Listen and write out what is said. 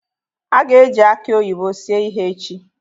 A ga-eji aki oyibo sie ihe echi.